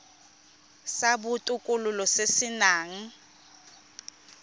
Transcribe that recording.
sa botokololo se se nang